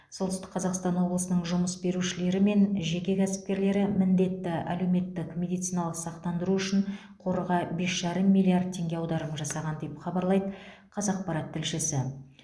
солтүстік қазақстан облысының жұмыс берушілері мен жеке кәсіпкерлері міндетті әлеуметтік медициналық сақтандыру үшін қорға бес жарым миллиард теңге аударым жасаған деп хабарлайды қазақпарат тілшісі